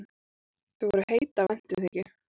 Þau voru heit af væntumþykju.